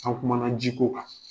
An kumana ji ko kan.